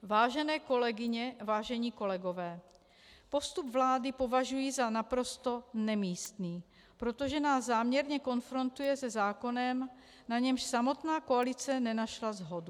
Vážené kolegyně, vážení kolegové, postup vlády považuji za naprosto nemístný, protože nás záměrně konfrontuje se zákonem, na němž samotná koalice nenašla shodu.